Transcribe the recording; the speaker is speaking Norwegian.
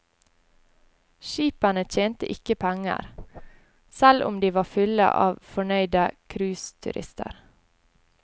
Skipene tjente ikke penger, selv om de var fulle av fornøyde cruiseturister.